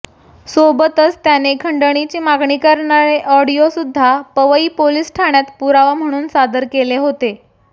सोबतच त्याने खंडणीची मागणी करणारे ऑडिओ सुद्धा पवई पोलीस ठाण्यात पुरावा म्हणून सादर केले होते